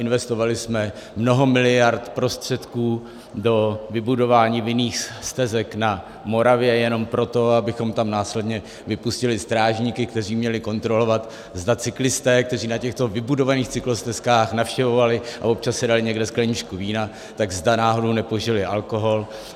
Investovali jsme mnoho miliard prostředků do vybudování vinných stezek na Moravě jenom proto, abychom tam následně vypustili strážníky, kteří měli kontrolovat, zda cyklisté, kteří na těchto vybudovaných cyklostezkách navštěvovali a občas si dali někde skleničku vína, tak zda náhodou nepožili alkohol.